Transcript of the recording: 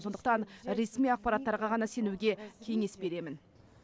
сондықтан ресми ақпараттарға ғана сенуге кеңес беремін